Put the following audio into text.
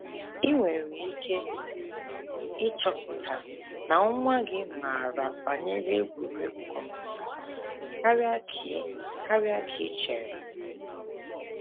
I nwere ike ịchọpụta na nwa gị maara banyere egwuregwu kọmputa karịa ka i karịa ka i chere!